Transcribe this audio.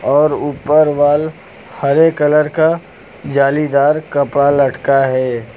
और ऊपर वाल हरे कलर का जालीदार कपड़ा लटका है।